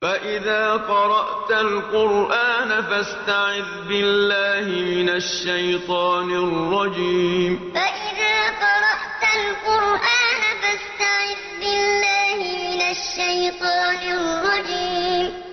فَإِذَا قَرَأْتَ الْقُرْآنَ فَاسْتَعِذْ بِاللَّهِ مِنَ الشَّيْطَانِ الرَّجِيمِ فَإِذَا قَرَأْتَ الْقُرْآنَ فَاسْتَعِذْ بِاللَّهِ مِنَ الشَّيْطَانِ الرَّجِيمِ